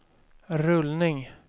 rullning